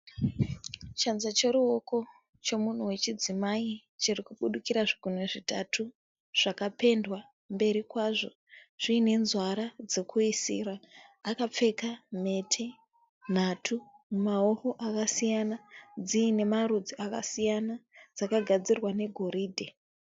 Chanza choruoko chomunhu wechidzimai chirikubudikira zvigunwe zvitatu zvakapendwa mberi kwazvo zviinenzwara dzokuisira. Akapfeka mhete nhatu mumaoko akasiyana dziinemarudzi akasiyana, dzakagadzirwa negoridhe.